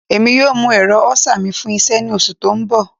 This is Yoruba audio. Emi yoo mu ẹrọ elcar mi fun iṣẹ ni oṣu ti n bọ